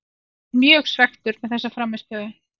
Ég er mjög svekktur með þessa frammistöðu.